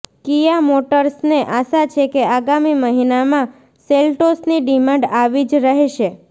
Kia મોટર્સને આશા છે કે આગામી મહિનામાં સેલ્ટોસની ડિમાન્ડ આવી જ રહેશે